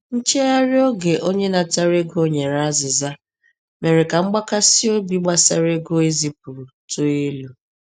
Nchegharị oge onye natara ego nyere azịza mere ka mgbakasị obi gbasara ego ezipụrụ too elu.